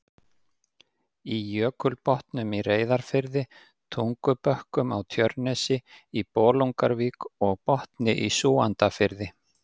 í Jökulbotnum í Reyðarfirði, Tungubökkum á Tjörnesi, í Bolungarvík og Botni í Súgandafirði.